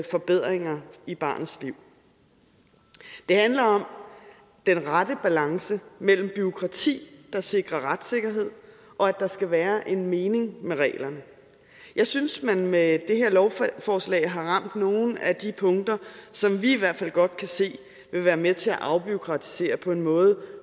forbedringer i barnets liv det handler om den rette balance mellem bureaukrati der sikrer retssikkerhed og at der skal være en mening med reglerne jeg synes at man med det her lovforslag har ramt nogle af de punkter som vi i hvert fald godt kan se vil være med til at afbureaukratisere på en måde